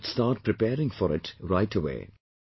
You all should start preparing for it right away